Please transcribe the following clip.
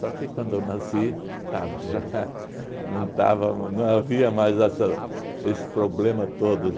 que quando eu nasci, estava já não estava não havia mais esse problema todo.